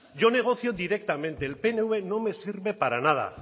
yo negocio directamente el pnv no me sirve para nada